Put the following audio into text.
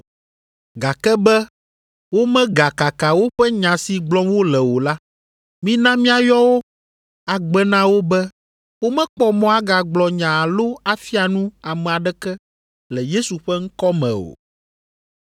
Gake be womegakaka woƒe nya si gblɔm wole o la, mina míayɔ wo agbe na wo be womekpɔ mɔ agagblɔ nya alo afia nu ame aɖeke le Yesu ƒe ŋkɔ me o.”